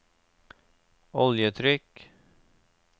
oljetrykk